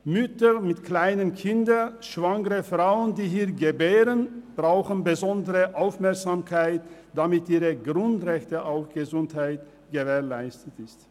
Mütter mit kleinen Kindern und schwangere Frauen, die hier gebären, brauchen besondere Aufmerksamkeit, damit ihr Grundrecht auf Gesundheit gewährleistet ist.